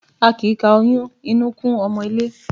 A kì í ka oyún inú kún ọmọ ilé.